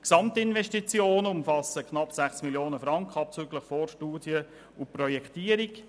Die Gesamtinvestitionen umfassen knapp 6 Mio. Franken abzüglich Vorstudie und Projektierung.